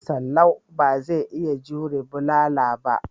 Salau ba zai iya jure bulala ba.